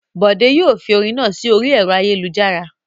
Bòdé yóò fi orin náà sí orí ẹ̀rọ ayélujára.